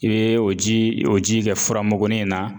I bɛ o ji o ji kɛ furamugu nin na.